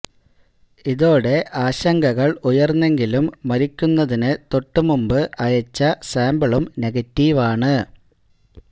ഇതോടെ ആശങ്കകള് ഉയര്ന്നെങ്കിലും മരിക്കുന്നതിന് തൊട്ടു മുമ്പ് അയച്ച സാമ്പിളും നെഗറ്റീവാണ്